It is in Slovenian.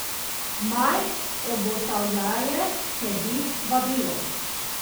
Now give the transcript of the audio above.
Maj obotavljaje sledi vabilu.